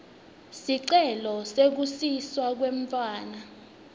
sicelo sekusiswa kwemntfwana